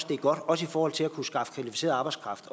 det er godt også i forhold til at kunne skaffe kvalificeret arbejdskraft